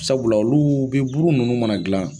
Sabula oluu be buru nunnu mana dilan